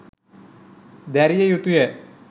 දැරිය යුතු ය.